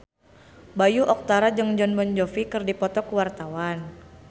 Bayu Octara jeung Jon Bon Jovi keur dipoto ku wartawan